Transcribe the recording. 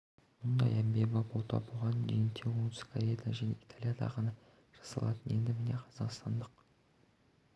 мұндай әмбебап ота бұған дейін тек оңтүстік корея және италияда ғана жасалатын енді міне қазақстандық